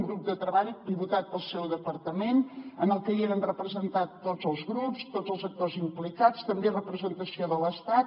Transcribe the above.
un grup de treball pilotat pel seu departament en el que hi eren representats tots els grups tots els actors implicats també representació de l’estat